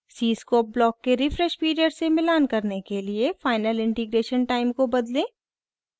cscope block के refresh period से मिलान करने के लिए final integration time को बदलें